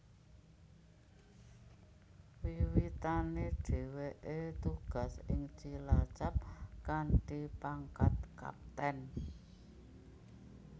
Wiwitane dheweke tugas ing Cilacap kanthi pangkat Kapten